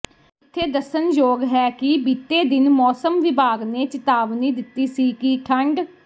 ਇੱਥੇ ਦੱਸਣਯੋਗ ਹੈ ਕਿ ਬੀਤੇ ਦਿਨ ਮੌਸਮ ਵਿਭਾਗ ਨੇ ਚਿਤਾਵਨੀ ਦਿੱਤੀ ਸੀ ਕਿ ਠੰਢ